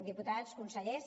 diputats consellers